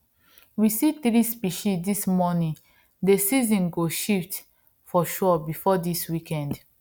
we see three species dis morning dey season go shift for sure before dis week end